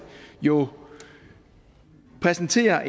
jo præsenterer